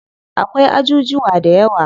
Akwai ajujuwa dayawa.